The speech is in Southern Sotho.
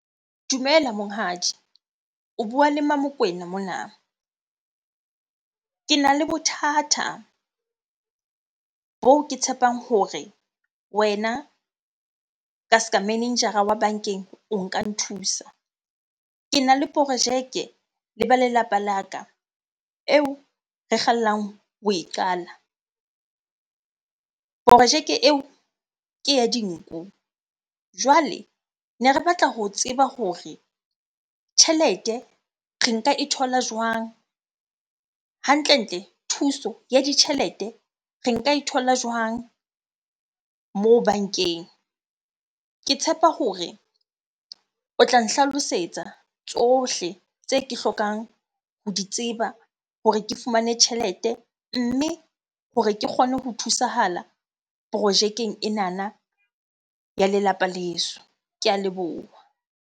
Dumela monghadi. O bua le Mmamokwena mona. Kena le bothata boo ke tshepang hore wena ka ska manager-a wa bankeng o nka nthusa. Kena le projeke le ba lelapa la ka eo re kgallang ho e qala, porojeke eo ke ya dinku. Jwale ne re batla ho tseba hore tjhelete re nka e thola jwang? Hantlentle thuso ya ditjhelete re nka e thola jwang moo bankeng? Ke tshepa hore o tla nhlalosetsa tsohle tse ke hlokang ho di tseba hore ke fumane tjhelete, mme hore ke kgone ho thusahala projekeng enana ya lelapa leso. Ke a leboha.